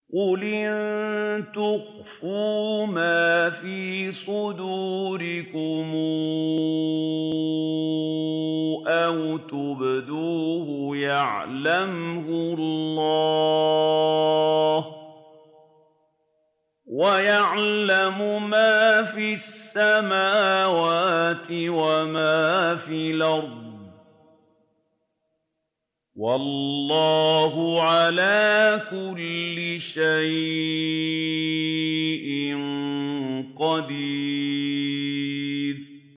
قُلْ إِن تُخْفُوا مَا فِي صُدُورِكُمْ أَوْ تُبْدُوهُ يَعْلَمْهُ اللَّهُ ۗ وَيَعْلَمُ مَا فِي السَّمَاوَاتِ وَمَا فِي الْأَرْضِ ۗ وَاللَّهُ عَلَىٰ كُلِّ شَيْءٍ قَدِيرٌ